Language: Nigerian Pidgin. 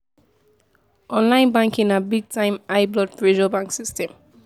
Online banking na big time high blood pressure bank system.